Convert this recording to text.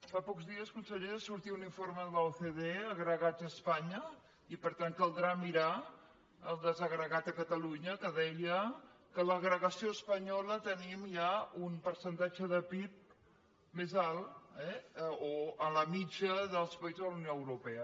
fa pocs dies consellera sortia un informe de l’ocde agregats a espanya i per tant caldrà mirar el desagregat a catalunya que deia que en l’agregació espanyola tenim ja un percentatge de pib més alt eh o en la mitjana dels països de la unió europea